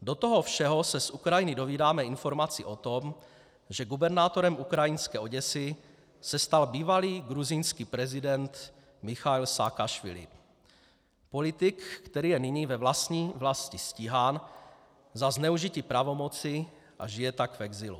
Do toho všeho se z Ukrajiny dozvídáme informaci o tom, že gubernátorem ukrajinské Oděsy se stal bývalý gruzínský prezident Michail Saakašvili, politik, který je nyní ve vlastní vlasti stíhán za zneužití pravomoci a žije tak v exilu.